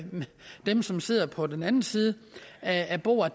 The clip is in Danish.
dem som sidder på den anden side af bordet